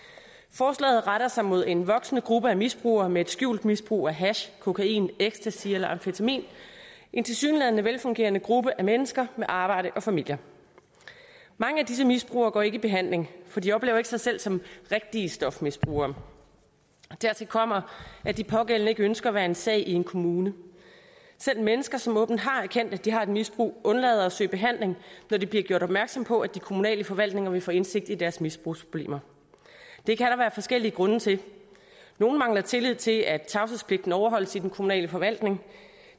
forslaget retter sig mod en voksende gruppe af misbrugere med et skjult misbrug af hash kokain ecstasy eller amfetamin en tilsyneladende velfungerende gruppe af mennesker med arbejde og familier mange af disse misbrugere går ikke i behandling for de oplever ikke sig selv som rigtige stofmisbrugere dertil kommer at de pågældende ikke ønsker at være en sag i en kommune selv mennesker som åbent har erkendt at de har et misbrug undlader at søge behandling når de bliver gjort opmærksom på at de kommunale forvaltninger vil få indsigt i deres misbrugsproblemer det kan der være forskellige grunde til nogle mangler tillid til at tavshedspligten overholdes i den kommunale forvaltning